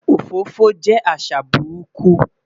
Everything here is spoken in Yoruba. Òfófó jẹ́ àṣà burúkú